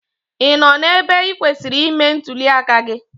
Ị nọ n'ebe ị kwesịrị ime ntụli aka gị?